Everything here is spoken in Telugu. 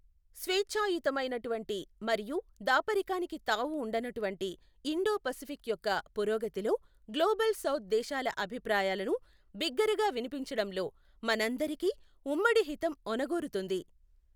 స్వేఛ్చాయుతమైనటువంటి మరియు దాపరికానికి తావు ఉండనటువంటి ఇండో పసిఫిక్ యొక్క పురోగతిలో, గ్లోబల్ సౌథ్ దేశాల అభిప్రాయాలను బిగ్గరగా వినిపించడంలో మన అందరికి ఉమ్మడి హితం ఒనగూరుతుంది.